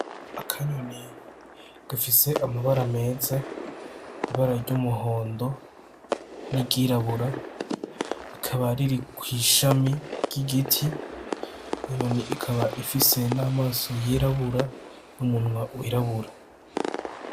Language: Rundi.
Akanyoni gafise amabara meza, ibara ry'umuhondo ni ry'irabura, ikaba riri kw'ishami ry'igiti, inyoni ikaba ifise n'amaso y'irabura n'umunwa w'irabura.